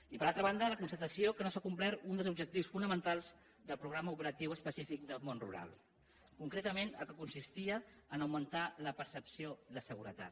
i per altra banda la constatació que no s’ha complert un dels objectius fonamentals del programa operatiu específic del món rural concretament el que consistia en el fet d’augmentar la percepció de seguretat